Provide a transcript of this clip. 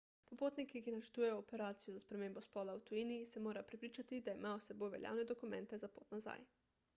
popotniki ki načrtujejo operacijo za spremembo spola v tujini se morajo prepričati da imajo s seboj veljavne dokumente za pot nazaj